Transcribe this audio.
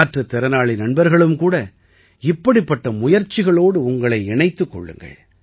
மாற்றுத் திறனாளி நண்பர்களும் கூட இப்படிப்பட்ட முயற்சிகளோடு உங்களை இணைத்துக் கொள்ளுங்கள்